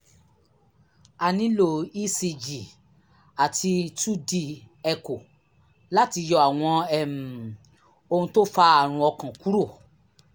a nílò ecg àti two d echo láti yọ àwọn um ohun tó fa àrùn ọkàn kúrò